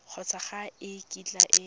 kgotsa ga e kitla e